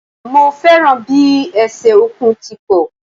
Mo fẹ́ràn bi ẹsẹ̀ Ọ̀kùn ti pọ̀